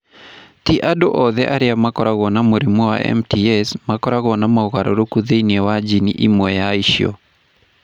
Ti andũ othe arĩa makoragwo na mũrimũ wa MTS makoragwo na mogarũrũku thĩinĩ wa jini ĩmwe ya icio.